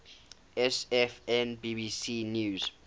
sfn bbc news